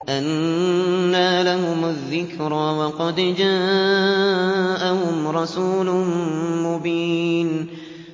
أَنَّىٰ لَهُمُ الذِّكْرَىٰ وَقَدْ جَاءَهُمْ رَسُولٌ مُّبِينٌ